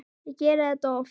Ég geri þetta oft.